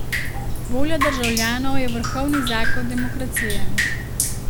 Volja državljanov je vrhovni zakon demokracije!